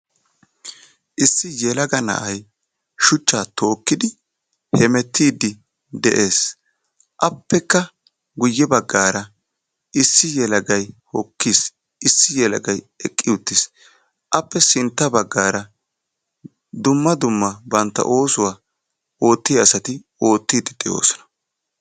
Issi yelaaga na'ay shuchcha tookidi hemeetidi de'ees; appeka guyye baggaara issi yelaagay hokiis issi yelaagay eqqi uttis; appe sintta baggaara dumma dumma bantta ossuwaa otiyaa asati ottidi de'oosona.